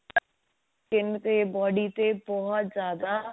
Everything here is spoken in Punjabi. skin ਤੇ body ਤੇ ਬਹੁਤ ਜਿਆਦਾ